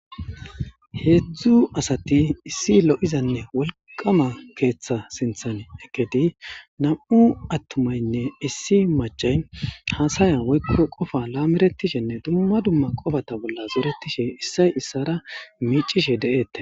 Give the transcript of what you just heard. Heedzdzu asati issi lo'izanne wolqama keeththa sinthane eketi nam'u attumaynne issi macay haasaya woykko qofa laameretishenne dumma dumma qofata bolla zeeretishe issay issara miicishe de'ette.